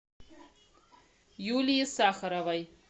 юлии сахаровой